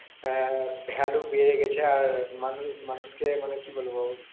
আহ valu বেড়ে গেছে আর মানুষকে মানে কি বলবো